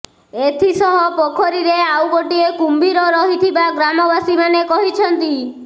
ଏଥିସହ ପୋଖରୀରେ ଆଉ ଗୋଟିଏ କୁମ୍ଭୀର ରହିଥିବା ଗ୍ରାମବାସୀମାନେ କହିଛନ୍ତି